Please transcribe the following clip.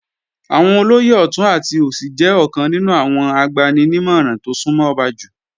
Àwọn olóyè ọ̀tún àti òsì jẹ́ ọ̀kan nínú àwọn agbani-nímọ̀ràn tó súnmọ́ ọba jù